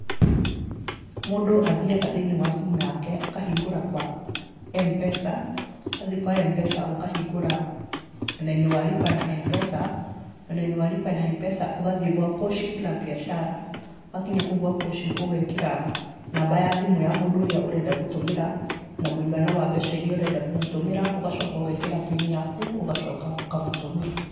Mundũ athiaga thĩinĩ wa thimũ yake akahingũra kwa M-PESA. Wathi kwa MPESA ũka hingũra mwena-inĩ wa Lipa na M-PESA, mwena-inĩ wa Lipa na M-PESA ũgathiĩ kwa Pochi La Biashara. Wakinya kũu gwa Pochi, ũgeekĩra namba ya thimũ ya mũndũ ũrĩa ũrenda gũtũmĩra na mũigana wa mbeca iria ũrenda kũmũtũmĩra, ũgacoka ũgeekĩra PIN yaku, ũgacoka ũkamũtũmĩra.